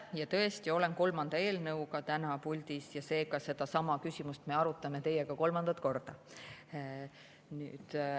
Jaa, tõesti, olen kolmanda eelnõuga täna puldis ja ka sedasama küsimust me arutame teiega kolmandat korda.